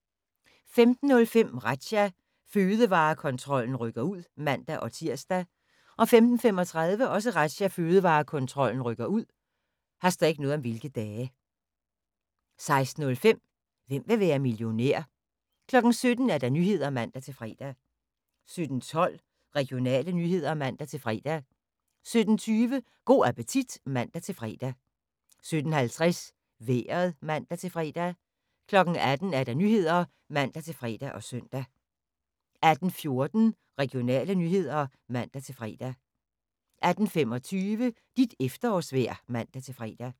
15:05: Razzia – Fødevarekontrollen rykker ud (man-tir) 15:35: Razzia – Fødevarekontrollen rykker ud 16:05: Hvem vil være millionær? 17:00: Nyhederne (man-fre) 17:12: Regionale nyheder (man-fre) 17:20: Go' appetit (man-fre) 17:50: Vejret (man-fre) 18:00: Nyhederne (man-fre og søn) 18:14: Regionale nyheder (man-fre) 18:25: Dit efterårsvejr (man-fre)